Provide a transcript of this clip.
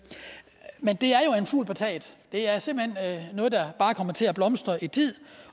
men det er jo en fugl på taget det er simpelt hen noget der bare kommer til at blomstre i tid